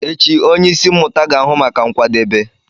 Echi, onye isi mmụta ga-ahụ maka nkwadebe.